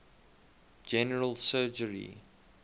general surgery